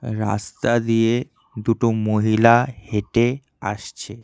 রাস্তা দিয়ে দুটো মহিলা হেঁটে আসছে।